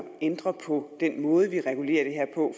ændre på den måde vi regulerer det her på